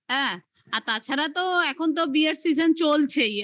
হ্যাঁ, আর তাছাড়া তো এখন তো বিয়ের season চলছেই